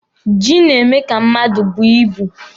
Ji na-eme ka mmadụ buo ibu.